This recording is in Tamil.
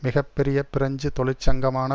மிக பெரிய பிரெஞ்சு தொழிற்சங்கமான